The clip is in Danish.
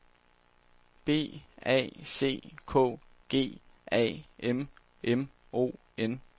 B A C K G A M M O N